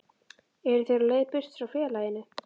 Eru þeir á leið burt frá félaginu?